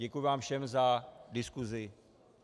Děkuji vám všem za diskusi.